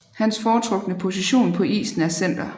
Hans foretrukne position på isen er center